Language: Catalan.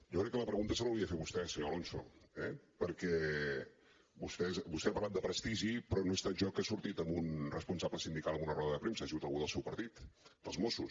jo crec que la pregunta se l’hauria de fer vostè senyor alonso eh perquè vostè ha parlat de prestigi però no he estat jo que ha sortit amb un responsable sindical en una roda de premsa ha sigut algú del seu partit dels mossos